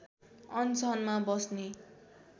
अनसनमा बस्ने